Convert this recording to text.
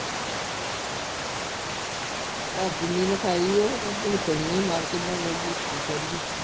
ਪਰ ਜਿੰਨੀ ਲਿਖਾਈ ਹੈ ਉਹ ਤੇ ਭੁਗਤਣੀ ਹੈ ਮੱਰ ਕਿੱਦਾਂ ਜਾਈਏ ਕਿ ਕਰੀਏ